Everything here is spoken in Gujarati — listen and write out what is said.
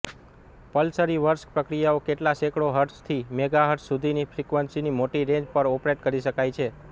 પલ્સરીવર્સ પ્રક્રિયાઓ કેટલાંક સેંકડો હર્ટઝથી મેગાહર્ટઝ સુધીની ફ્રીકવન્સીની મોટી રેન્જ પર ઓપરેટ કરી શકાય છે